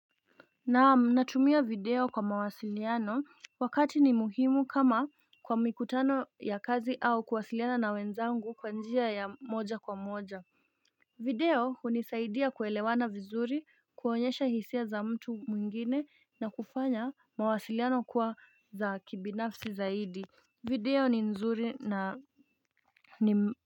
Naam natumia video kwa mawasiliano wakati ni muhimu kama kwa mikutano ya kazi au kuwasiliana na wenzangu kwa njia ya moja kwa moja video unisaidia kuelewana vizuri kuonyesha hisia za mtu mwingine na kufanya mawasiliano kuwa za kibinafsi zaidi video ni nzuri na.